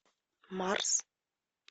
марс